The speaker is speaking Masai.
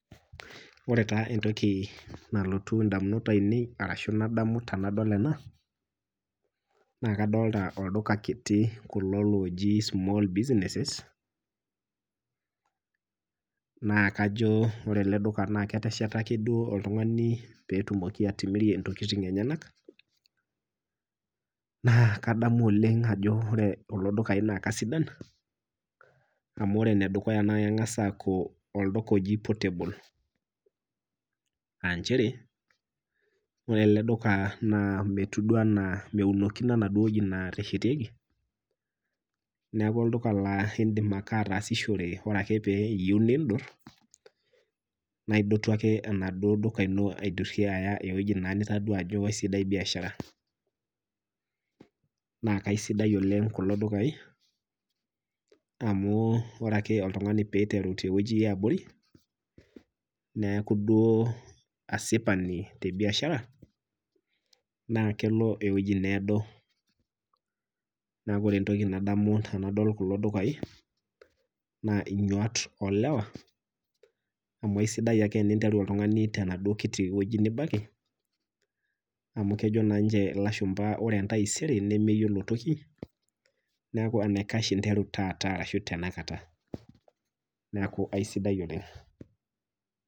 ore taa entoki nalotu ndamunot ainei ashu nadamu tenadol ena, naa kadolita olduka kiti kulo looji small businesses naa kajo ore ele duka naa ketesheta duo ake oltung'ani pee etum atimirie ntokiting' enyenak, naa kadamu oleng' ajo ore kulo dukai naa keisidan amu ore enedukuya naa keng'as olduka ijo portable aa nchere ore ele olduka naa meunokino enaduo weji neteshetieki neeku olduka laa ore ake pee indip ataasishore ore ake pee iyieu nindur, na idotu ake enaduo duka ino niya eweji nitodua ajo eisidai biashara .naa keisidai oleng' kulo dukai amu ore ake pee eiteru oltung'ani teweji eabori neeku duo asipani te biashara naa kelo eweji needo. neeku ore entoki nadamu tenadol kulo dukai naa nyaat oolewa ,amu eisidai ake oltung'ani teniteru tenaduo kiti weji nibaiki amu kejo naa ninche ilashumpa ore entaisere nemeyiolo toki ,neeku enaikash inteeru taata ashu tenakata neeku aisidai oleng'.